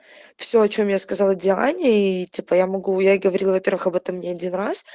все о чем я сказала диане и типа я могу я ей говорила первых об этом не одинраз